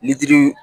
Litiri